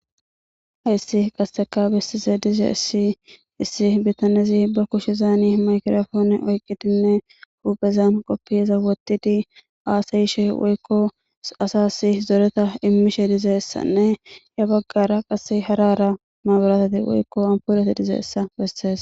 Hayssi qasse bessishe dizayssi issi bitanezi ba kushezan maygirapoone oyqqidinne huphphezan kopiyaza wottidi haasayishe woykko asasi zoreta immishe dizayssanne ya baggara qasse hara hara maburateti woykko ampoleti dizayssa bessees.